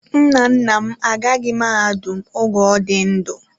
Nna nna m agaghị mahadum oge ọ dị ndụ.